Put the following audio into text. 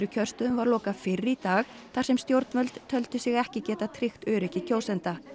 kjörstöðum var lokað fyrr í dag þar sem stjórnvöld töldu sig ekki geta tryggt öryggi kjósenda